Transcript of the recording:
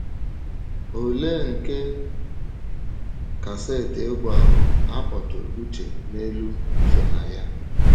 Olee nke kaseti egwú ahụ a kpọtụrụ uche n’elu so na ya?